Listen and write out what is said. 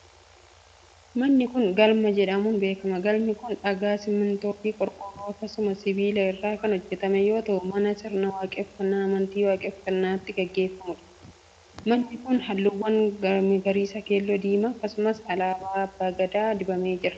Manni kun, galma jedhamuun beekama. Galmi kun, dhagaa ,simiintoo fi qorqoorroo akkasumas sibiila irraa kan hojjatame yoo ta'u, mana sirni waaqeffannaa amantii waaqeffannaa itti gaggeeffamuu dha, Manni kun, haalluuwwan magariisa, keelloo fi diimaa akkasumas alaabaa abbaa gadaa dibamee jira.